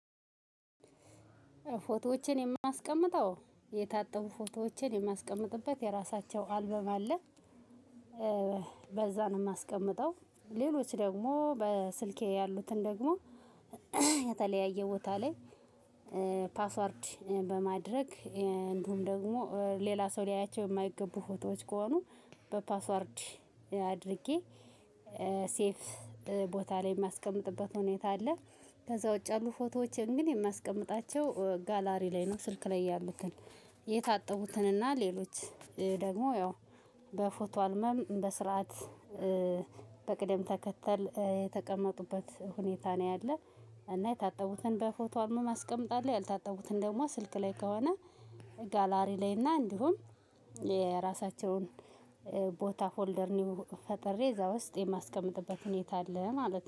ፎቶዎችን የማስቀምጠው የታጠቡ ፎቶዎችን የማስቀምጥበት የራሳቸው አልበም አለ። በዛ ነው ማስቀምጠው ሌሎች ደግሞ በስልኬ ያሉትን ደግሞ የተለያየ ቦታ ላይ። ፓስዋርድ በማድረግ እንዲሁም ደግሞ ሌላ ሰው ሊያያቸው የማይገቡ ፎቶዎች ከሆኑ በፓስዋርድ አድርጌ ሴፍ ቦታ ላይ የማስቀምጥበት ሁኔታ አለ። ከዛ ውጪ ያሉ ፎቶዎችን ግን የማስቀምጣቸው ጋላሪ ላይ ነው። ስልክ ላይ ያሉትን የታጠቡትን እና ሌሎች ደግሞ ያው በፎቶ አልበም በስርዓት በቅደም ተከተል የተቀመጡበት ሁኔታ ነው። ያለ እና የታጠቡትን በፎቶ አልበም አስቀምጣለሁ። ያልታጠቡትን ደግሞ ስልክ ላይ ከሆነ ጋላሪ ላይ እና እንዲሁም የራሳቸውን ቦታ ፎልደር ኒው ፈጥሬ እዛ ውስጥ የማስቀምጥበት ሁኔታ አለ ማለት ነው